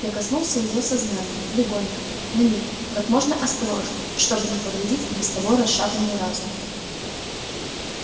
я коснулся её сознания легонько на миг как можно осторожнее чтобы не повредить и без того расшатанный разум